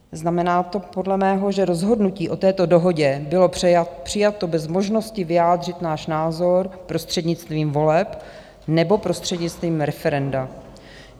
Znamená to podle mého, že rozhodnutí o této dohodě bylo přijato bez možnosti vyjádřit náš názor prostřednictvím voleb nebo prostřednictvím referenda.